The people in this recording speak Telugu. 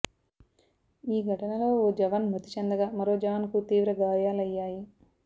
ఈ ఘటనో ఓ జవాన్ మృతి చెందగా మరో జవాన్ కు తీవ్రగాయాలయ్యాయి